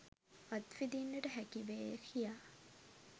අත් විදින්නට හැකිවේය කියා.